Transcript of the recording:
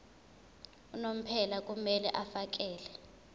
unomphela kumele afakele